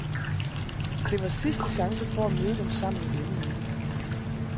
Det var sidste chance for at møde dem sammen i denne uge.